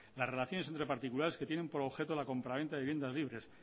las relaciones entre particulares que tienen por objeto de la compraventa de las viviendas libres